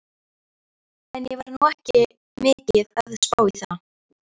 En ég var nú ekki mikið að spá í það.